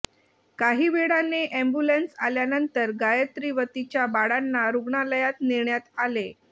काही वेळाने अॅम्ब्युलन्स आल्यानंतर गायत्री व तिच्या बाळांना रुग्णालयात नेण्यात आले